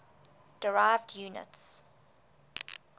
derived units